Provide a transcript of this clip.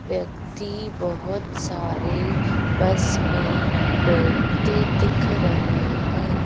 व्यक्ति बहुत सारे बस में बैठते दिख रहे हैं।